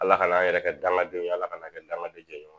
Ala ka n'an yɛrɛ kɛ dankadɔw ye ala kana kɛ dangaden jeni ye